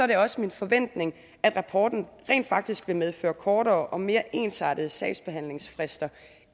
det også min forventning at rapporten rent faktisk vil medføre kortere og mere ensartede sagsbehandlingsfrister